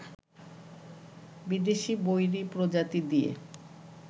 বিদেশি বৈরী প্রজাতি দিয়ে